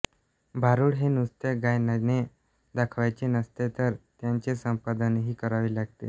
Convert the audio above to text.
भारूड हे नुसते गायनाने दाखवायचे नसते तर त्याचे संपादनही करावे लागते